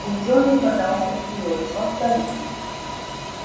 учёный подался вперёд повтори